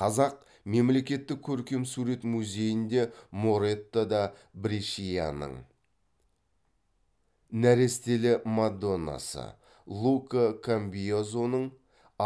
қазақ мемлекеттік көркемсурет музейінде моретто да брешианың нәрестелі мадоннасы лука камбиазоның